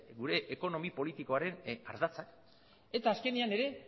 gure ekonomi politikoaren ardatzak eta azkenean ere